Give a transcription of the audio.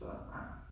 Så nej